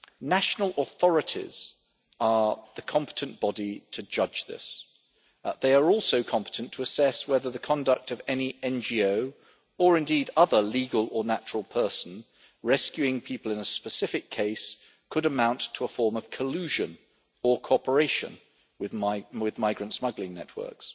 National authorities are the competent body to judge this. They are also competent to assess whether the conduct of any NGO, or indeed other legal or natural person, rescuing people in a specific case could amount to a form of collusion or cooperation with migrant smuggling networks.